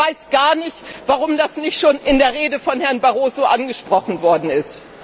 Ich weiß gar nicht, warum das nicht schon in der Rede von Herrn Barroso angesprochen worden ist.